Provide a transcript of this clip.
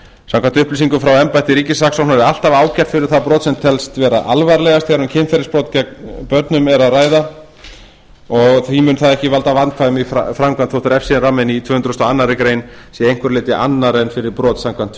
samkvæmt upplýsingum frá embætti ríkissaksóknara er alltaf ákært fyrir það brot sem telst vera alvarlegast þegar um kynferðisbrot gegn börnum er að ræða því mun það ekki valda vandkvæðum í framkvæmd þótt refsiramminn í tvö hundruð og aðra grein sé að einhverju leyti annar en fyrir brot samkvæmt tvö